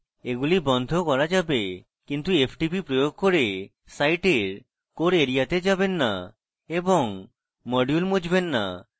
এগুলি বন্ধ করা যাবে কিন্তু ftp প্রয়োগ core সাইটের core area they যাবেন না এবং modules মুছবেন না